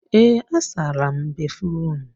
Ee, asara m béfrụm.